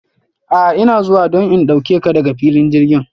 A ina zuwa don in dauke ka daga filin jirgin.